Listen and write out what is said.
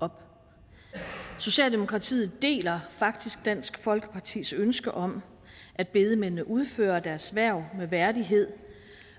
op socialdemokratiet deler faktisk dansk folkepartis ønske om at bedemændene udfører deres hverv med værdighed